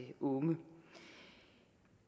unge